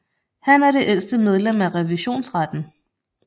Han er det ældste medlem af Revisionsretten